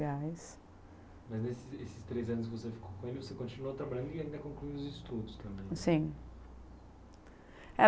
Mas nesses três anos que você ficou com ele, você continuou trabalhando e ainda concluiu os estudos também. Sim.